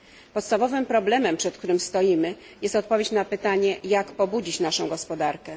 Podstawowym problemem, przed którym stoimy, jest odpowiedź na pytanie, jak pobudzić naszą gospodarkę.